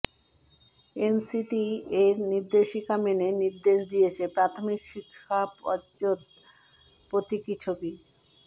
NCTE এর নির্দেশিকা মেনে নির্দেশ দিয়েছে প্রাথমিক শিক্ষা পর্ষদ প্রতীকী ছবি